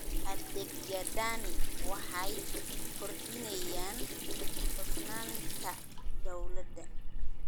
Adeegyadani waxay kordhiyaan hufnaanta dawladda.